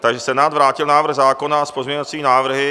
Senát vrátil návrh zákona s pozměňovacími návrhy.